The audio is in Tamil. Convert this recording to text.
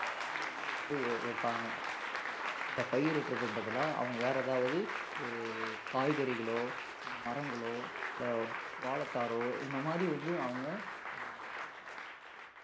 அஹ் வேற வழியில வந்து வைப்பாங்க இந்த பயிரிடுறதுக்கு பதிலா அவங்க வேற ஏதாவது ஒரு காய்கறிகளோ இல்ல மரங்களோ இல்ல வாழைத்தாரோ இந்த மாதிரி வந்து அவங்க அஹ்